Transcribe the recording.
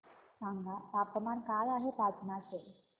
सांगा तापमान काय आहे पाटणा चे